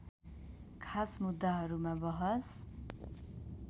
खास मुद्दाहरूमा बहस